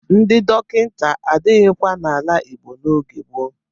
Ndị dọkịta adịghịkwa n'ala Igbo n'oge gboo.